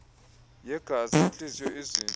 yegazi intliziyo izintso